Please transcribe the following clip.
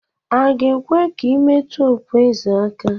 A ga-ekwe ka i metụ okpu eze aka?